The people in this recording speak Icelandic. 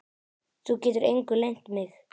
Þú getur engu leynt mig.